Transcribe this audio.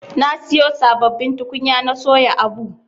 Na siyo sabbabin tukunya na soya abu.